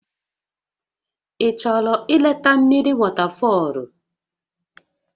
Ị chọrọ ileta mmiri wọtafọlụ?